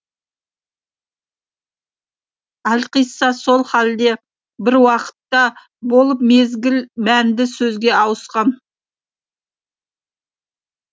әлқисса сол халде бір уақытта болып мезгіл мәнді сөзге ауысқан